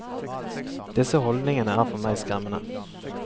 Disse holdningene er for meg skremmende.